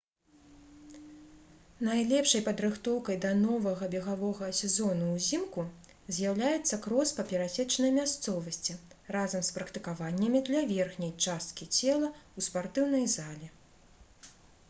найлепшай падрыхтоўкай да новага бегавога сезону ўзімку з'яўляецца крос па перасечанай мясцовасці разам з практыкаваннямі для верхняй часткі цела ў спартыўнай залі